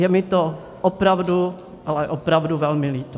Je mi to opravdu, ale opravdu velmi líto.